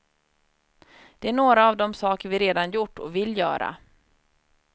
Det är några av de saker vi redan gjort och vill göra.